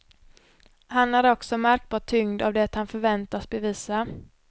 Han är också märkbart tyngd av det han förväntas bevisa.